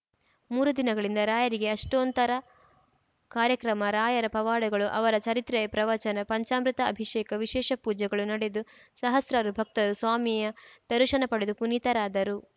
ಮೂರು ದಿನಗಳಿಂದ ರಾಯರಿಗೆ ಅಷ್ಟೊಂತ್ತರ ಕಾರ್ಯಕ್ರಮ ರಾಯರ ಪವಾಡಗಳು ಅವರ ಚರಿತ್ರೆಯ ಪ್ರವಚನ ಪಂಚಾಮೃತ ಅಭಿಷೇಕ ವಿಶೇಷ ಪೂಜೆಗಳು ನಡೆದು ಸಹಸ್ರಾರು ಭಕ್ತರು ಸ್ವಾಮಿಯ ದರುಶನ ಪಡೆದು ಪುನೀತರಾದರು